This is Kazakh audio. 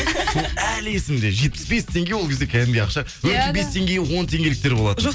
сол әлі есімде жетпіс бес теңге ол кезде кәдімгідей ақша отыз бес теңгеге он теңгеліктер болатын